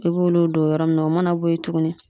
I b'olu don o yɔrɔ mun na o mana boye tuguni